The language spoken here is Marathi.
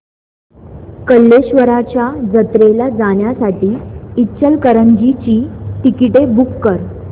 कल्लेश्वराच्या जत्रेला जाण्यासाठी इचलकरंजी ची तिकिटे बुक कर